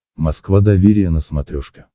москва доверие на смотрешке